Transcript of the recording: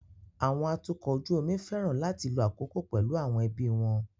Àwọn atukọ̀ ojú omi fẹ́ràn láti lo àkókò pẹ̀lú àwọn ẹbí wọn.